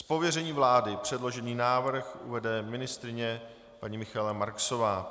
Z pověření vlády předložený návrh uvede ministryně paní Michaela Marksová.